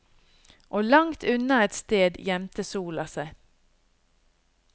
Og langt unna et sted gjemte sola seg.